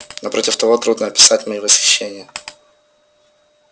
напротив того трудно описать моё восхищение